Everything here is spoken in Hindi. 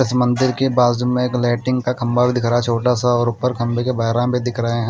इस मंदिर के बाजू में लेटिग का खंभा भी दिख रहा है छोटा सा और ऊपर खंभे के बेहराम भी दिख रहे हैं।